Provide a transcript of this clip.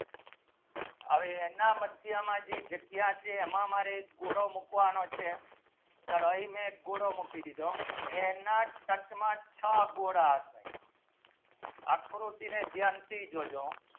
અને એના માધ્ય માં જે જગ્યા છે હમાં મારે ગોરો મુખવાનો છે ચલો મેં ગોરો મુખી દીતો એના સ્તર માં છ ગુના અસે આકૃતિ ને બ્યાનતી જો જો